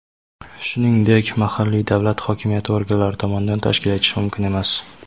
shuningdek mahalliy davlat hokimiyati organlari tomonidan tashkil etilishi mumkin emas.